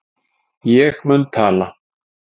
Ég mun tala.